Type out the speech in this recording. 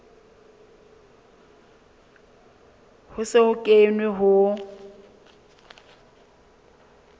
ho se ho kenwe ho